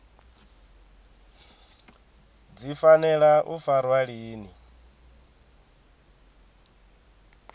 dzi fanela u farwa lini